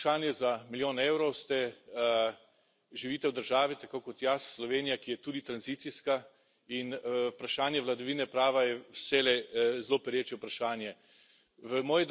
Sedaj pa vprašanje za milijon evrov živite v državi, tako kot jaz, Slovenija, ki je tudi tranzicijska, in vprašanje vladavine prava je vselej zelo pereče vprašanje.